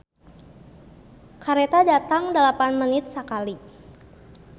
"Kareta datang dalapan menit sakali"